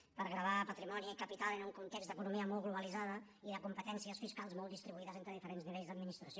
per gravar patrimoni i capital en un context d’economia molt globalitzada i de competències fiscals molt distribuïdes entre diferents nivells d’administració